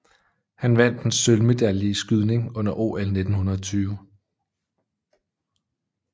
Han vandt en sølvmedalje i skydning under OL 1920